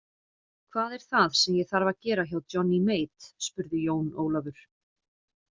Hvað er það sem ég þarf að gera hjá Johnny Mate spurði Jón Ólafur.